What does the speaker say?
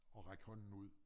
At række hånden ud